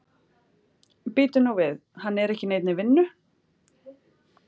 Bíddu nú við, hann er ekki í neinni vinnu?